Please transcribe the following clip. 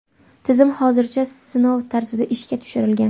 Tizim hozircha sinov tarzida ishga tushirilgan.